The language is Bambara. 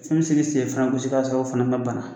Fɛn mi se ka i sen fana gosi k'a sɔrɔ o fana ma bana